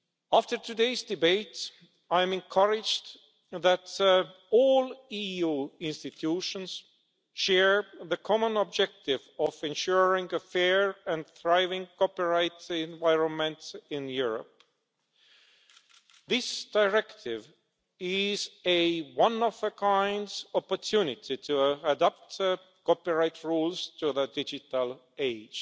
After today's debate I'm encouraged that all EU institutions share the common objective of ensuring a fair and thriving copyright environment in Europe. This directive is a one-of-a-kind opportunity to adopt copyright rules to the digital age.